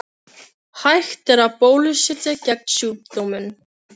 Hægt er að bólusetja gegn sjúkdómnum.